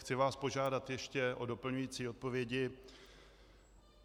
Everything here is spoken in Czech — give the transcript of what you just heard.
Chci vás požádat ještě o doplňující odpovědi.